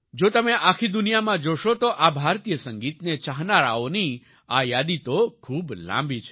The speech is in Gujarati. જો તમે આખી દુનિયામાં જોશો તો આ ભારતીય સંગીતને ચાહનારાઓની આ યાદી તો ખૂબ લાંબી છે